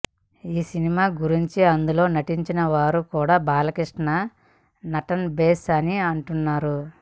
ఈ సినిమా గురించి అందులో నటించిన వారు కూడా బాలకృష్ణ నటన భేష్ అని అంటున్నారు